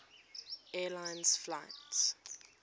air lines flight